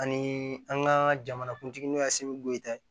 Ani an ka jamanakuntigi n'o ye segu ye dɛ